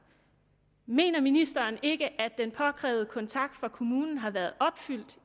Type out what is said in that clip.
mener ministeren ikke at den påkrævede kontakt fra kommunen har været opfyldt